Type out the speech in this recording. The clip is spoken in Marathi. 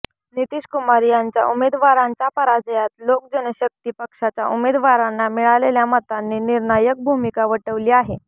नीतीश कुमार यांच्या उमेदवारांच्या पराजयात लोक जनशक्ती पक्षाच्या उमेदवारांना मिळालेल्या मतांनी निर्णायक भूमिका वठवली आहे